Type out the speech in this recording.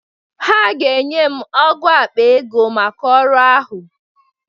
Ha ga-enye m ọ́gụ̀ akpa ego maka ọrụ ahụ.